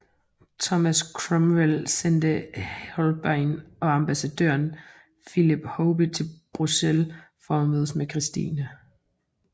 Thomas Cromwell sendte Holbein og ambassadøren Philip Hoby til Bruxelles for at mødes med Christine